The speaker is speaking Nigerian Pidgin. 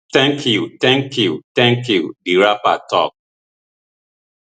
thank you thank you thank you di rapper tok